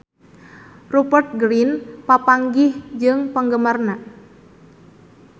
Rupert Grin papanggih jeung penggemarna